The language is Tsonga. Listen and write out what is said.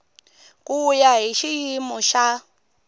ku ya hi xiyimo xa